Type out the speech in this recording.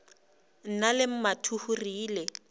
nna le mathuhu re ile